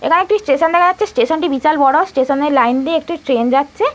এখানে একটি স্টেশন দেখা যাচ্ছে স্টেশনটি বিশাল বড় স্টেশনে লাইন দিয়ে একটি ট্রেন যাচ্ছে।